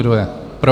Kdo je pro?